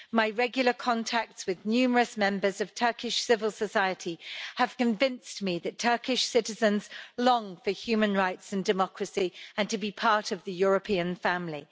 My regular contacts with numerous members of Turkish civil society have convinced me that Turkish citizens long for human rights and democracy and to be part of the European family.